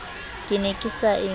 ke ne ke sa e